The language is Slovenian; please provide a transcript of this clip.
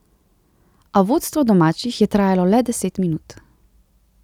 A vodstvo domačih je trajalo le deset minut.